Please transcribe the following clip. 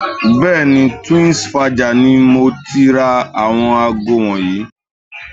Bẹ́ẹ̀ni, Twinsfaja ni mo ti ra àwọn aago wọ̀nyí